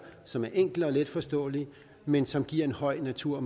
som er enkle og letforståelige men som giver en høj natur